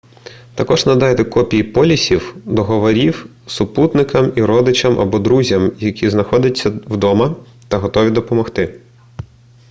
також надайте копії полісів/договорів супутникам і родичам або друзям які знаходяться вдома та готові допомогти